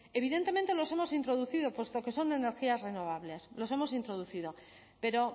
evidentemente los hemos introducido puesto que son energías renovables los hemos introducido pero